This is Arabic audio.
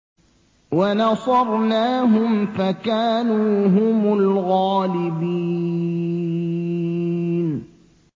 وَنَصَرْنَاهُمْ فَكَانُوا هُمُ الْغَالِبِينَ